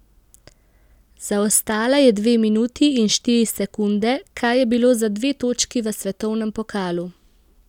Zaostala je dve minuti in štiri sekunde, kar je bilo za dve točki v svetovnem pokalu.